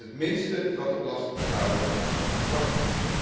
Dat is het minste wat de belastingbetaler van ons mag verwachten.